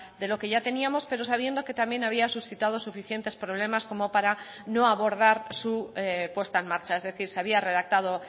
de lo que ya teníamos pero sabiendo que también había suscitado suficientes problemas como para no abordar su puesta en marcha es decir se había redactado